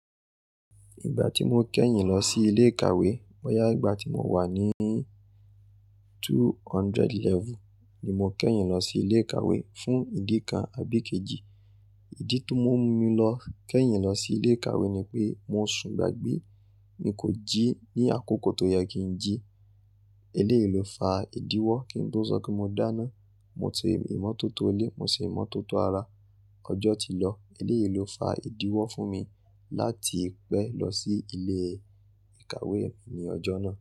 Ìgbà tí mo kẹ́yìn lọ sí ilé ìkàwé, bọ́ yá ìgbà tí mo wà ní 200 level ni mo kẹ́yìn lọ sí ilé ìkàwé fún ìdí kan àbí kejì. Ìdí tí ó mú mi lọ kẹ́yìn lọ sí ilé ìkàwé ni pé mo sùn gbágbé. Mi kò jí ní àkókò tó yẹ kí n jí. Eléyìí ló fa ìdíwọ́ kí n tó sọ kí mo dáná. Mo ti ìmọ́tótó ilé, mo sì ìmọ́tótó ara. Ọjọ́ ti lọ, eléyìí ló fa ìdíwọ́ fún mi láti pẹ́ lọ sí ilé ìkàwé mi ní ọjọ́ náà.